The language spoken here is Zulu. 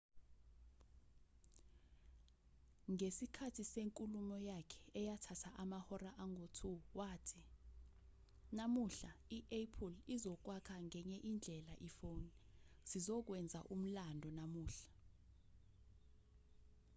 ngesikhathi senkulumo yakhe eyathatha amahora angu-2 wathi namuhla i-apple izokwakha ngenye indlela ifoni sizokwenza umlando namuhla